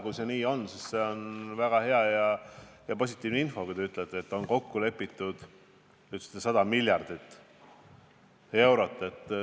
Kui see nii on, siis see on väga hea, väga positiivne info, et on kokku lepitud eraldada see 100 miljardit eurot.